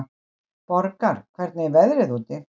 Borgar, hvernig er veðrið úti?